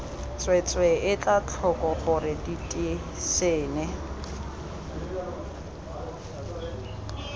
tsweetswee etla tlhoko gore diteišene